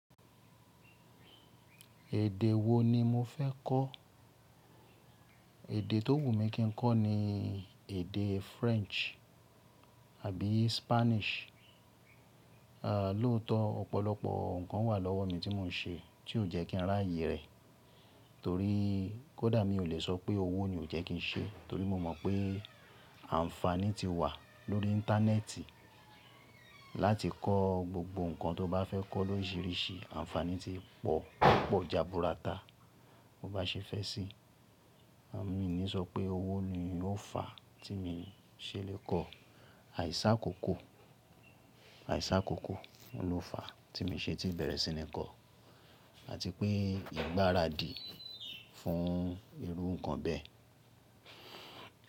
Èdè wo ni mo fẹ́ kọ́? Èdè tó wù mí kí n kọ́ ni èdè French àbí Spanish. Àń lọ́tọ̀ ọ̀pọ̀lọpọ̀ nǹkan wà lọ́wọ́ mi tí mò ń ṣe tí ò jẹ́ kí n rá yè rẹ̀, torí kódà mi ò lè sọ pé owó ni ò jẹ́ kí n ṣe, torí mo mọ̀ pé àǹfàní ti wà lórí Íńtánẹ́ẹ̀tì láti kọ́ gbogbo nǹkan tó bá fẹ́ kọ́ lóríṣìíríṣìí, àǹfàní ti pọ̀ púpọ̀ ìà burata. Bo bá ṣe fẹ́ sí i, à mi ni sọ pé owó ni ó fà á tí mo ṣe lè kọ́, àìsà kò kò, àìsà kò kò ló fà á tí mi ṣe ti bẹ̀rẹ̀ sí ní kọ́, àti pé ìgbáradì fún irú nǹkan bẹ́ẹ̀